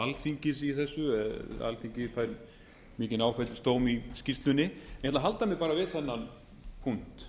alþingis í þessu alþingi fær mikinn áfellisdóm í skýrslunni ég ætla að halda mig bara við þennan punkt